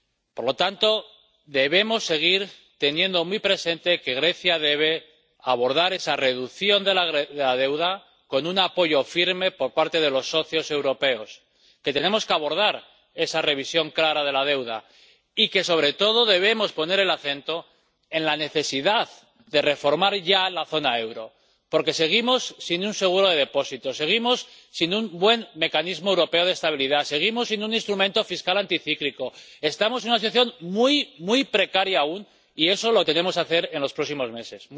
Por lo tanto, debemos seguir teniendo muy presente que Grecia debe abordar esa reducción de la deuda con un apoyo firme por parte de los socios europeos, que tenemos que abordar esa revisión clara de la deuda y que, sobre todo, debemos poner el acento en la necesidad de reformar ya la zona euro, porque seguimos sin un seguro de depósitos, seguimos sin un buen mecanismo europeo de estabilidad, seguimos sin un instrumento fiscal anticíclico. Estamos en una situación muy, muy precaria aún, y eso lo tenemos que hacer en los próximos meses.